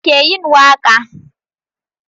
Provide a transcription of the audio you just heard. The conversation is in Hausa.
Wa ke yin waka?